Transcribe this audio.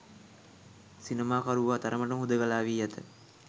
සිනමාකරුවා තරමට ම හුදෙකලා වී ඇත